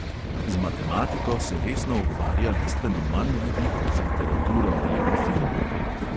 Z matematiko se resno ukvarja bistveno manj ljudi kot z literaturo ali pa filmom.